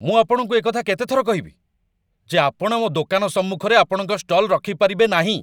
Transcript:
ମୁଁ ଆପଣଙ୍କୁ ଏକଥା କେତେ ଥର କହିବି, ଯେ ଆପଣ ମୋ ଦୋକାନ ସମ୍ମୁଖରେ ଆପଣଙ୍କ ଷ୍ଟଲ୍‌ ରଖିପାରିବେ ନାହିଁ?